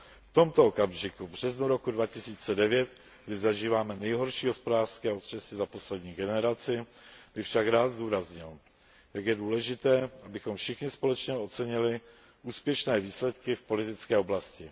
V tomto okamžiku, v březnu roku 2009, kdy zažíváme nejhorší hospodářské otřesy za poslední generaci, bych však rád zdůraznil, jak je důležité, abychom všichni společně ocenili úspěšné výsledky v politické oblasti.